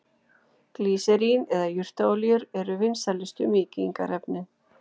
Glýserín eða jurtaolíur eru vinsælustu mýkingarefnin.